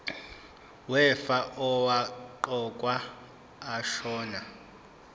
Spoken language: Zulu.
wefa owaqokwa ashona